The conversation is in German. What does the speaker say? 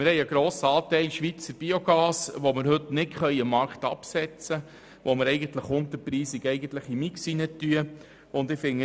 Ein grosser Teil des Schweizer Biogases kann heute nicht am Markt abgesetzt werden und fliesst mit einem angemessenen Preis in den Mix.